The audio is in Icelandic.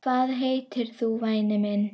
Hvað heitir þú væni minn?